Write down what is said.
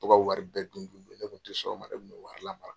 Ka to ka wari bɛɛ dun dun ne kun tɛ sɔn o ma ne kun bɛ wari lamara.